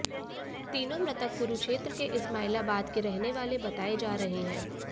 तीनों मृतक कुरुक्षेत्र के इस्माइलाबाद के रहने वाले बताए जा रहे हैं